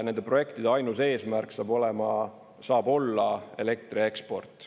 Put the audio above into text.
Nende projektide ainus eesmärk saab olla elektri eksport.